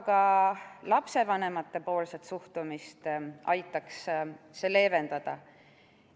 Ka lapsevanemate suhtumist aitaks see leevendada.